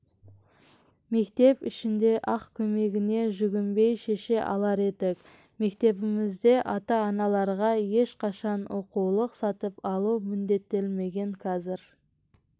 мектеп ішінде-ақ көмегіне жүгінбей шеше алар едік мектебімізде ата-аналарға ешқашан оқулық сатып алу міндеттелмеген қазір